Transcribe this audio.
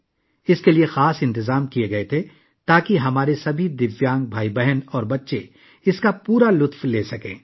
اس کے لیے خصوصی انتظامات کیے گئے تھے، تاکہ ہمارے تمام دیویانگ بھائی بہن اور بچے اس سے بھرپور لطف اندوز ہوسکیں